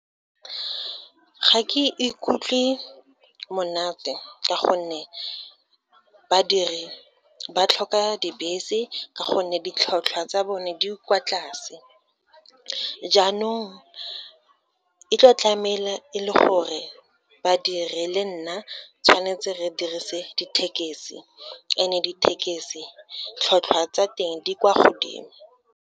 Ga ke ikutlwe monate ka gonne, badiri ba tlhoka dibese ka gonne ditlhotlhwa tsa bone di kwa tlase, jaanong e tlo tlahamela e le gore badiri le nna, tshwanetse re dirise dithekesi, and-e dithekesi tlhotlhwa tsa teng di kwa godimo.